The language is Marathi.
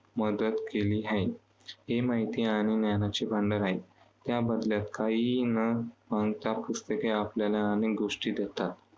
मदत केली आहे. ते माहिती आणि ज्ञानाचे भंडार आहेत. त्याबदल्यात काही न मागता पुस्तके आपल्याला अनेक गोष्टी देतात.